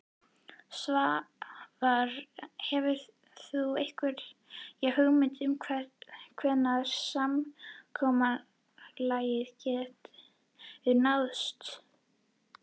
Svavar: Hefur þú einhverja hugmynd um hvenær samkomulag getur náðst?